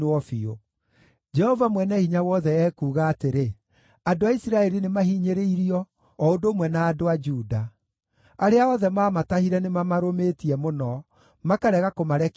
Jehova Mwene-Hinya-Wothe ekuuga atĩrĩ, “Andũ a Isiraeli nĩmahinyĩrĩirio, o ũndũ ũmwe na andũ a Juda. Arĩa othe maamatahire nĩmamarũmĩtie mũno, makarega kũmarekia mathiĩ.